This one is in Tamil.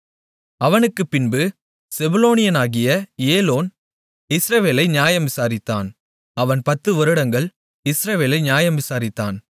அவனுக்குப் பின்பு செபுலோனியனாகிய ஏலோன் இஸ்ரவேலை நியாயம் விசாரித்தான் அவன் பத்து வருடங்கள் இஸ்ரவேலை நியாயம் விசாரித்தான்